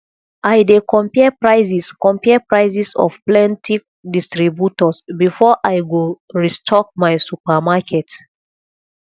i dey compare prices compare prices of plenty distributors before i go restock my supermarket